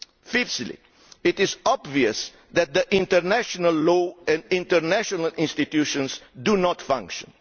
Fifthly, it is obvious that international law and the international institutions do not function.